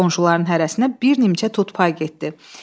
Qonşuların hərəsinə bir nimçə tut pay getdi.